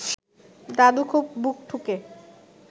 দাদু খুব বুক ঠুকে